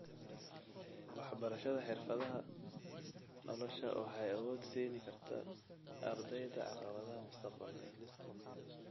Waxbarashada xirfadaha nolosha waxay awood siin kartaa ardayda caqabadaha mustaqbalka.